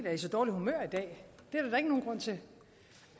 er i så dårligt humør i dag det